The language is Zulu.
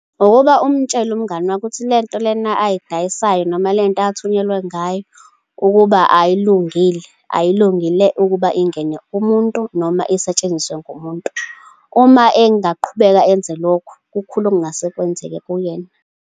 Ngokuba umtshele umngani wakho ukuthi le nto lena ayidayisayo noma le nto athunyelwe ngayo, ukuba ayilungile. Ayilungile ukuba ingene kumuntu, noma isetshenziswe ngumuntu. Uma engaqhubeka enze lokho, kukhula okungase kwenzeke kuyena.